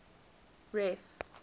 ref